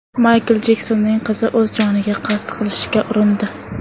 Maykl Jeksonning qizi o‘z joniga qasd qilishga urindi.